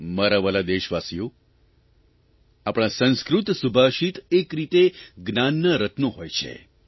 મારા વ્હાલા દેશવાસીઓ આપણાં સંસ્કૃત સુભાષિત એક રીતે જ્ઞાનનાં રત્નો હોય છે